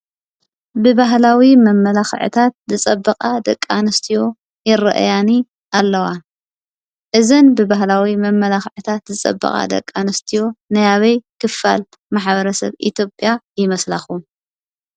ብባህላዊ መመላኽዕታት ዝፀበቃ ደቂ ኣንስትዮ ይርአያኒ ኣለዋ። እዘን ብባህላዊ መመላከዕታት ዝፀበቃ ደቂ ኣንስትዮ ናይአበይ ክፋል ሕብረተሰብ ይመስላኹሞ?